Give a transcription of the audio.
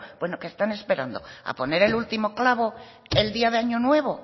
bueno qué están esperando a poner el último clavo el día de año nuevo